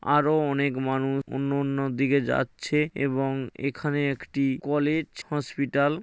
আরো অনেক মানুষ অন্য অন্য দিকে যাচ্ছে এবং এখানে একটি কলেজ হসপিটাল --